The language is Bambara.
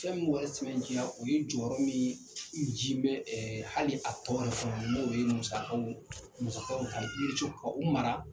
Fɛn min m'o yɔrɔ sɛmɛntiya, o ye jɔyɔrɔ min, nci mɛ hali a tɔɔrɔ fɛnw n'o ye musakaw musakaw ka o mara